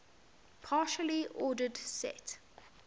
partially ordered set